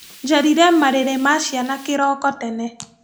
Njarire marĩrĩ ma ciana kĩroko tene.